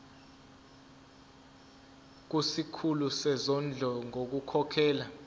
kusikhulu sezondlo ngokukhokhela